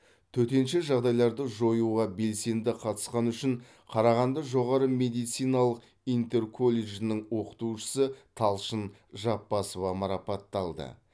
төтенше жағдайларды жоюға белсенді қатысқаны үшін қарағанды жоғары медициналық интерколледжінің оқытушысы талшын жапбасова марапатталды